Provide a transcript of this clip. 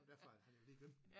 Derfor han havde lige glemt den